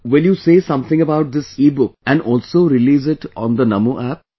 Will you say something about this ebook and also release it on the Namo App